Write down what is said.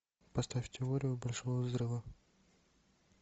поставь теорию большого взрыва